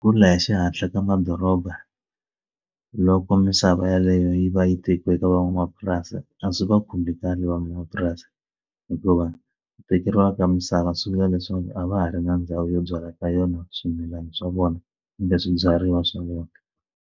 Ku la hi xihatla ka madoroba loko misava yeleyo yi va yi tekiwe eka van'wamapurasi a swi va khumbhi kahle van'wamapurasi hikuva vekeriwa ka misava swi vula leswaku a va ha ri na ndhawu yo byala ka yona swimilana swa vona kumbe swibyariwa swa vona.